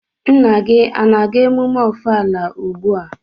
Nna gi a-na aga emume Ọfala ugbua?